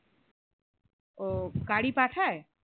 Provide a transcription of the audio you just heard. ও গাড়ি পাঠায়?